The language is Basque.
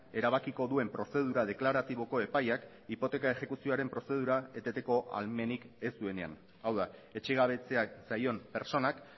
erabakiko duen prozedura deklaratiboko epaiak hipoteka exekuzioaren prozedura eteteko ahalmenik ez duenean hau da etxegabetzeak zaion pertsonak